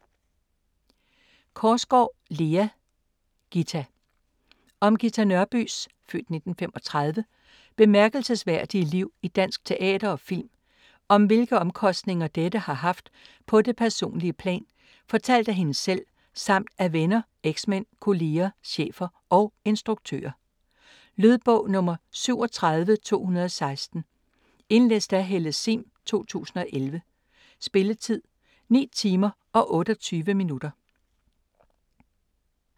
Korsgaard, Lea: Ghita Om Ghita Nørbys (f. 1935) bemærkelsesværdige liv i dansk teater og film, og om hvilke omkostninger dette har haft på det personlige plan, fortalt af hende selv, samt af venner, eksmænd, kollegaer, chefer og instruktører. Lydbog 37216 Indlæst af Helle sihm, 2011. Spilletid: 9 timer, 28 minutter.